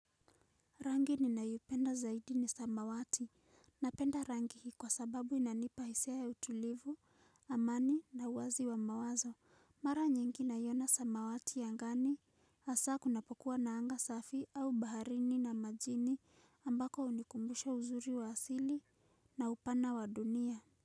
Rangi ni nayoipenda zaidi ni samawati. Napenda rangi hii kwa sababu inanipa hisia ya utulivu, amani na uwazi wa mawazo. Mara nyingi naiona samawati angani. Asa kunapokuwa na anga safi au baharini na majini ambako hunikumbusha uzuri wa asili na upana wa dunia.